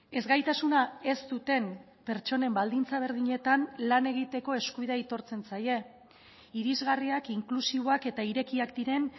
ezgaitasuna ez duten pertsonen baldintza berdinetan lan egiteko eskubidea aitortzen zaie irisgarriak inklusiboak eta irekiak diren